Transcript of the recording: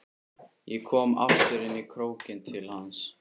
Ég kom aftur inn í krókinn til hans.